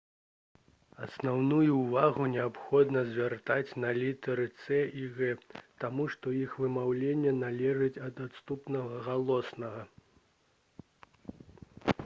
асноўную ўвагу неабходна звяртаць на літары «c» и «g» таму што іх вымаўленне залежыць ад наступнага галоснага